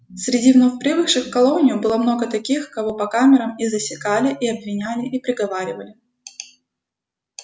среди вновь прибывших в колонию много было таких кого по камерам и засекали и обвиняли и приговаривали